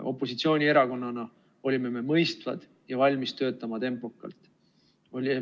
Opositsioonierakonnana olime me mõistvad ja valmis töötama tempokalt.